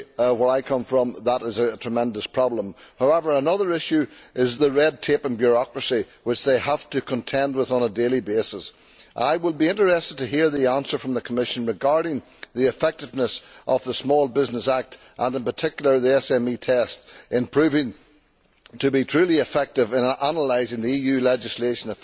Where I come from, this is a tremendous problem. However, another issue is the red tape and bureaucracy which they have to contend with on a daily basis. I would be interested to hear the answer from the Commission regarding the effectiveness of the Small Business Act, and in particular the SME test, in proving to be truly effective in analysing the effects of EU legislation